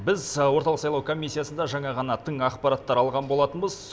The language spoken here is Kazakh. біз орталық сайлау комиссиясында жаңа ғана тың ақпараттар алған болатынбыз